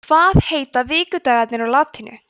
hvað heita vikudagarnir á latínu